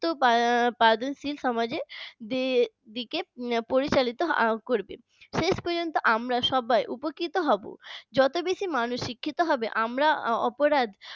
তো সমাজে দিকে পরিচালিত করবে শেষ পর্যন্ত আমরা সবাই উপকৃত হব যত বেশি মানুষ শিক্ষিত হবে আমরা অপরাধ